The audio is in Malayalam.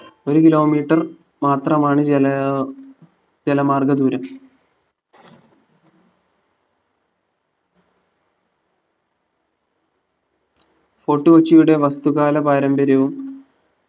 ഒരു kilometre മാത്രമാണ് ജല അഹ് ജലമാർഗ ദൂരം ഫോർട്ട്കൊ ച്ചിയുടെ വസ്തുകാല പാരമ്പര്യവും